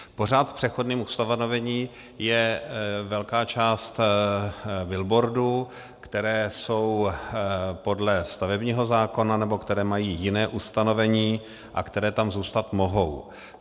Pořád v přechodném ustanovení je velká část billboardů, které jsou podle stavebního zákona nebo které mají jiné ustanovení a které tam zůstat mohou.